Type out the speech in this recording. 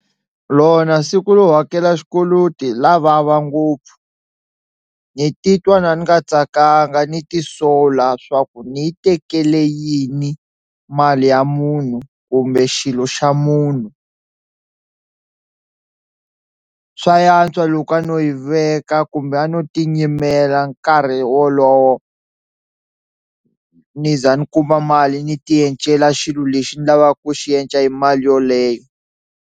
Lona siku ro hakela xikoloti la vava ngopfu ni titwa na ni nga tsakanga ni ti sola swa ku ni yi tekele yini mali ya munhu kumbe xilo xa munhu, swa antswa loko a no yi veka kumbe a no ti nyimela nkarhi wolowo ni za ni kuma mali ni ti yencela xilo lexi ndzi lavaka ku xi yenca hi mali yoleyo.